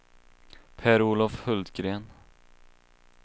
Per-Olof Hultgren